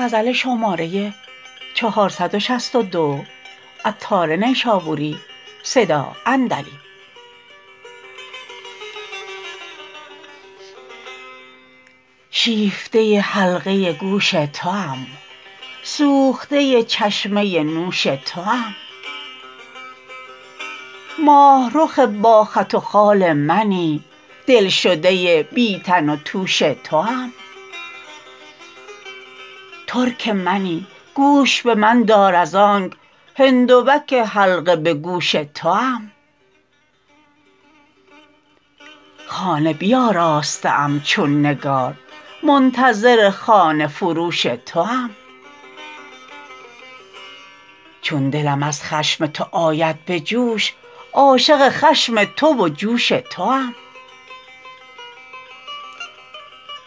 شیفته حلقه گوش توام سوخته چشمه نوش توام ماهرخ با خط و خال منی دلشده بی تن و توش توام ترک منی گوش به من دار از آنک هندوک حلقه به گوش توام خانه بیاراسته ام چون نگار منتظر خانه فروش توام چون دلم از خشم تو آید به جوش عاشق خشم تو و جوش توام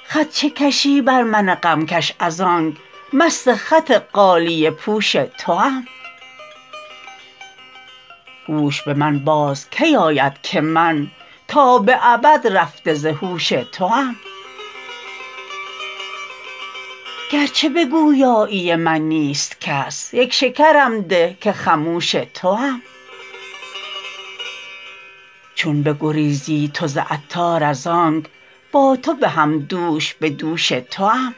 خط چه کشی بر من غمکش از آنک مست خط غالیه پوش توام هوش به من باز کی آید که من تا به ابد رفته ز هوش توام گرچه به گویایی من نیست کس یک شکرم ده که خموش توام چون بگریزی تو ز عطار از آنک با تو به هم دوش به دوش توام